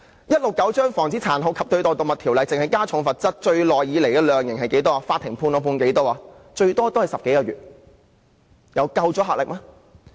而《防止殘酷對待動物條例》只是加重罰則，這麼多年以來，法庭判決的量刑最長也只是10個多月，有足夠的阻嚇力嗎？